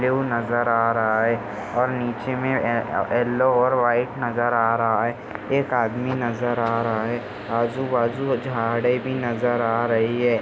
वो नजर आ रहा है। और निचे मे ए ए येलो और व्हाइट नजर आ रहा है। एक आदमी नजर आ रहा है। आजूबाजू झाडे भी नजर आ रही है।